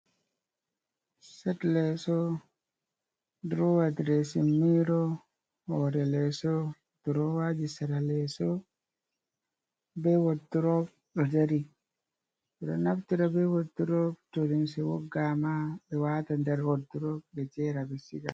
Set leeso, durowa diresin miro, hoore leeso, durowaaji sera leeso, be wodrob do dari. Ɓe ɗo naftira be wodrob to limse woggaama, ɓe waata nder wodrob, ɓe jera ɓe siga.